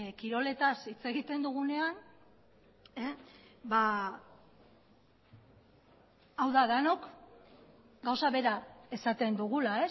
kiroletaz hitz egiten dugunean hau da denok gauza bera esaten dugula